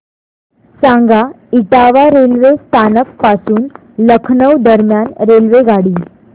सांगा इटावा रेल्वे स्थानक पासून लखनौ दरम्यान रेल्वेगाडी